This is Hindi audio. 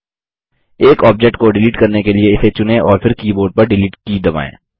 एक ऑब्जेक्ट को डिलीट करने के लिए इसे चुनें और फिर कीबोर्ड पर डिलीट की दबाएँ